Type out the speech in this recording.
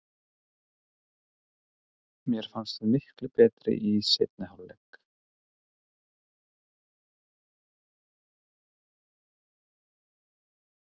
Mér fannst við bara miklu betri í seinni hálfleik.